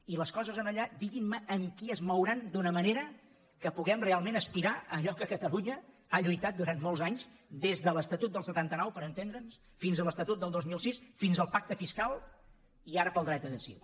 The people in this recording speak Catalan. i les coses allà diguin me amb qui es mouran d’una manera que puguem realment aspirar a allò que catalunya ha lluitat durant molts anys des de l’estatut del setanta nou per entendre’ns fins a l’estatut del dos mil sis fins al pacte fiscal i ara pel dret a decidir